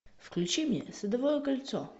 включи мне садовое кольцо